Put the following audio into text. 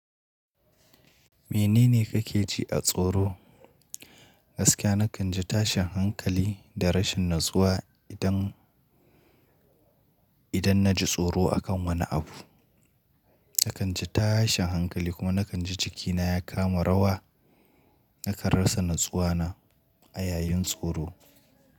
Menene kake ji a tsoro? Gaskiya na kan ji tashin hankali da rashin natsuwa idan, idan na ji tsoro a kan wani abu. Na kan ji tashin hankali kuma na kan ji jikina ya kama rawa. Na karasa natsuwa na a yayin tsoro.